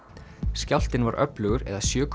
skjálftinn var öflugur eða sjö